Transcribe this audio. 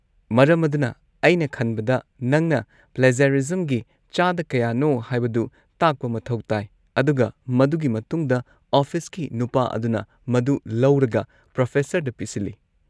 ꯃꯔꯝ ꯑꯗꯨꯅ, ꯑꯩꯅ ꯈꯟꯕꯗ ꯅꯪꯅ ꯄ꯭ꯂꯦꯖꯔꯤꯖꯝꯒꯤ ꯆꯥꯗ ꯀꯌꯥꯅꯣ ꯍꯥꯏꯕꯗꯨ ꯇꯥꯛꯄ ꯃꯊꯧ ꯇꯥꯏ, ꯑꯗꯨꯒ ꯃꯗꯨꯒꯤ ꯃꯇꯨꯡꯗ ꯑꯣꯐꯤꯁꯀꯤ ꯅꯨꯄꯥ ꯑꯗꯨꯅ ꯃꯗꯨ ꯂꯧꯔꯒ ꯄ꯭ꯔꯣꯐꯦꯁꯔꯗ ꯄꯤꯁꯜꯂꯤ꯫